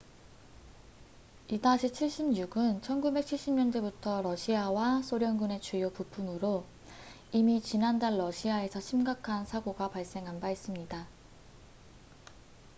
il-76은 1970년대부터 러시아와 소련군의 주요 부품으로 이미 지난달 러시아에서 심각한 사고가 발생한 바 있습니다